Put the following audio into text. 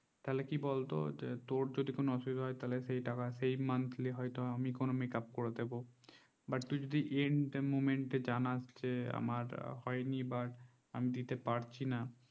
তাহলে কি বলতো তোর যদি কোনো অসুবিধা হয় সেই টাকা সেই monthly আমি কোনো makeup করে দেব but তুই যদি end moment জানাস যে আমার হয় নি বা আমি দিতে পারছি না